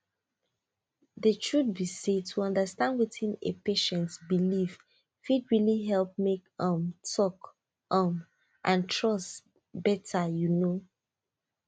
the truth be say to understand wetin a patient believe fit really help make um talk um and trust better you know